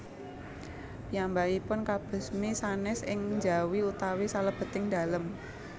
Piyambakipun kabesmi sanes ing njawi utawi salebeting dalem